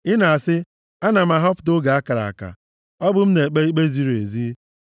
Ị na-asị, “Ana m ahọpụta oge a kara aka. Ọ bụ m na-ekpe ikpe ziri ezi.